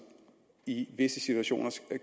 i visse situationer